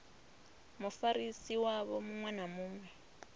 mufarisi wavho muṅwe na muṅwe